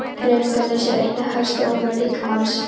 Hreyfingarleysi er einn helsti óvinur líkamans.